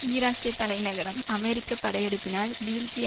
ஈராக்கிய தலைநகரம் அமெரிக்க படையெடுப்பினால் வீழ்ச்சி